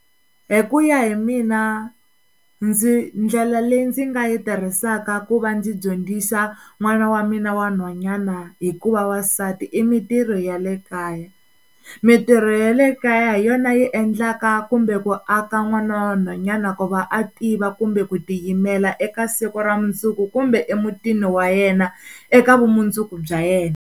Hi ku ya hi mina ndzi ndlela leyi ndzi nga yi tirhisaka ku va ndzi dyondzisa n'wana wa mina wa nhwanyana hi ku va wansati i mintirho ya le kaya mintirho ya le kaya hi yona yi endlaka kumbe ku aka n'wana wa nhwanyana ku va a tiva kumbe ku tiyimela eka siku ra mundzuku kumbe emutini wa yena eka vumundzuku bya yena.